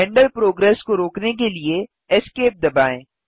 render progress को रोकने के लिए Esc दबाएँ